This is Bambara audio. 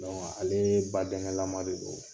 alee badɛŋɛlama de don.